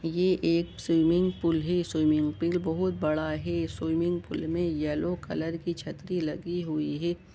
ये एक swimming pool है स्विमिंग पूल बहुत बड़ा है स्विमिंग पूल में येलो कलर की छतरी लगी हुई है।